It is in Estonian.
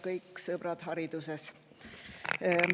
Kõik sõbrad hariduses!